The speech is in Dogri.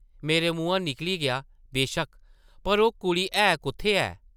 मेरे मुहां निकली गेआ, ‘‘बेशक्क! पर ओह् कुड़ी है कुʼत्थै ऐ?’’